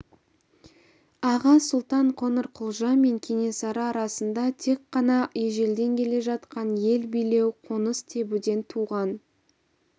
аға сұлтан қоңырқұлжа мен кенесары арасында тек қана ежелден келе жатқан ел билеу қоныс тебуден туған